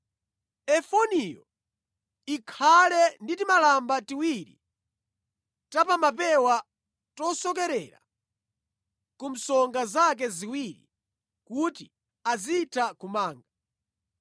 Efodiyo ikhale ndi timalamba tiwiri ta pa mapewa tosokerera ku msonga zake ziwiri kuti azitha kumanga.